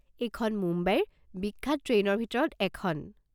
এইখন মুম্বাইৰ বিখ্যাত ট্ৰেইনৰ ভিতৰত এখন।